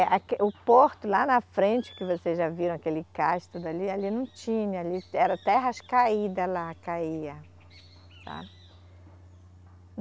Aue, o porto lá na frente, que vocês já viram aquele cais tudo ali, ali não tinha, ali era terras caídas lá, caía, sabe